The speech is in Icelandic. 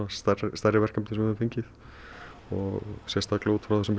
stærri stærri verkefnum sem við höfum fengið og sérstaklega út frá þessum